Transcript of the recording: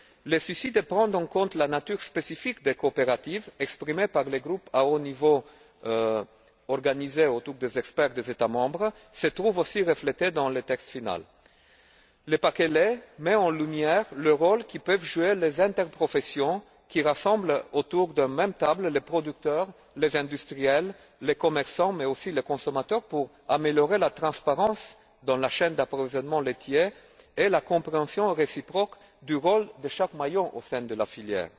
Le souci de prendre en compte la nature spécifique des coopératives, exprimé par les groupes de haut niveau organisés autour des experts des États membres, se trouve aussi reflété dans le texte final. Le paquet lait met en lumière le rôle que peuvent jouer les interprofessions qui rassemblent autour d'une même table les producteurs, les industriels, les commerçants, mais aussi les consommateurs pour améliorer la transparence dans la chaîne d'approvisionnement laitier et la compréhension réciproque du rôle de chaque maillon au sein de la filière.